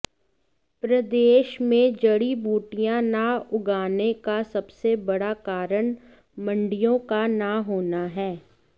प्रदेश में जड़ी बूटियां न उगाने का सबसे बड़ा कारण मंडियों का न होना है